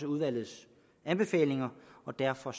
udvalgets anbefalinger og derfor